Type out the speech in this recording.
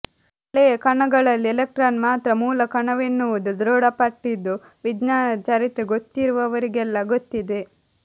ಹಳೆಯ ಕಣಗಳಲ್ಲಿ ಎಲೆಕ್ಟ್ರಾನ್ ಮಾತ್ರ ಮೂಲಕಣವೆನ್ನುವುದು ದೃಢಪಟ್ಟಿದ್ದು ವಿಜ್ಞಾನದ ಚರಿತ್ರೆ ಗೊತ್ತಿರುವವರಿಗೆಲ್ಲ ಗೊತ್ತಿದೆ